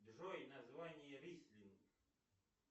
джой название рислинг